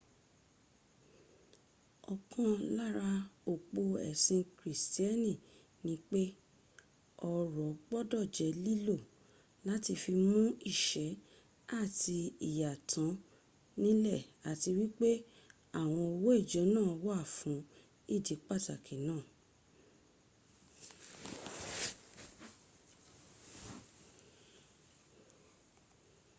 ọ̀kan lára òpó ẹ̀sìn kìrìsìtíẹ́nì ni pé ọrọ̀ gbọ́dọ̀ jẹ́ lílò láti fi mún ìyà àti ìṣẹ́ tán nílẹ̀ àti wípé àwọn owó ìjọ wà fún ìdí pàtàki náà